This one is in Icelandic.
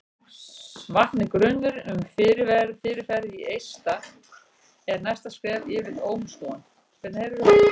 vakni grunur um fyrirferð í eista er næsta skref yfirleitt ómskoðun